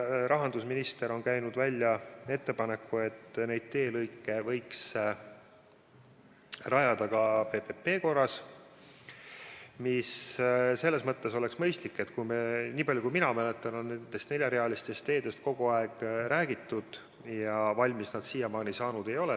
Rahandusminister on käinud välja ettepaneku, et neid teelõike võiks rajada ka PPP korras, mis selles mõttes oleks mõistlik, et niipalju kui mina mäletan, on nendest neljarealistest teedest kogu aeg räägitud ja valmis nad seni saanud ei ole.